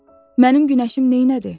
Və mənim günəşim neynədi?